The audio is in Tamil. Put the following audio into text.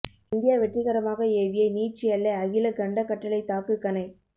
இந்தியா வெற்றிகரமாக ஏவிய நீட்சி எல்லை அகில கண்டக் கட்டளைத் தாக்கு கணை